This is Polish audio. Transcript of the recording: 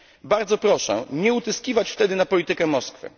Bardzo proszę nie utyskiwać wtedy na politykę Moskwy.